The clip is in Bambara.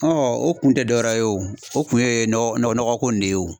o kun tɛ dɔwɛrɛ ye o o kun ye nɔgɔ nɔgɔko in ne ye o.